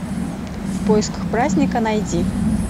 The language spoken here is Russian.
в поисках праздника найди